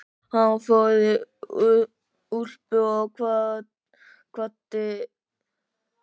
Hann fór í úlpu og kvaddi.